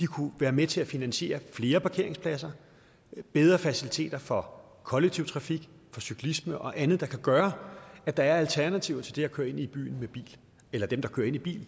kunne være med til at finansiere flere parkeringspladser og bedre faciliteter for kollektiv trafik cyklisme og andet der kan gøre at der er alternativer til det at køre ind i byen i bil eller at dem der kører ind i bil